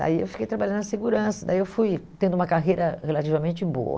Daí eu fiquei trabalhando na Segurança, daí eu fui tendo uma carreira relativamente boa.